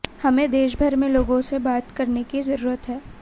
हमें देशभर में लोगों से बात करने की जरूरत है